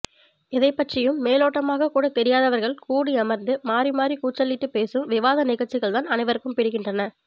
எதைப்பற்றியும் மேலோட்டமாகக்கூட தெரியாதவர்கள் கூடி அமர்ந்து மாறி மாறிக்கூச்சலிட்டுப் பேசும் விவாதநிகழ்ச்சிகள்தான் அனைவருக்கும் பிடிக்கின்றன